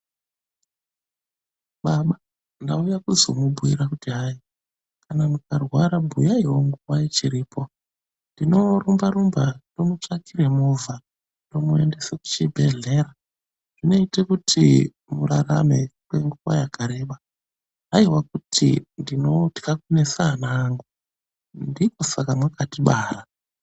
Baba ndauya kuzomubhuira kuti hai kana mukarwara bhuyaiwo nguwa ichiripo. Tinorumba rumba tomutsvakire movha inomuendesa kuchibhehlera zvinoite kuti murarame kwenguwa yakareba. Haiwa kuti ndinotya kunesa ana angu. Ndikosaka mwakatibara.